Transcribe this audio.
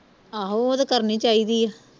ਆਹੋ ਉਹ ਤੇ ਕਰਨੀ ਚਾਹੀਦੀ ਆ